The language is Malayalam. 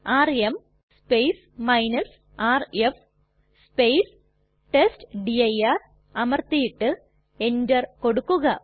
ആർഎം rf ടെസ്റ്റ്ഡിർ അമർത്തിയിട്ട് എന്റർ കൊടുക്കുക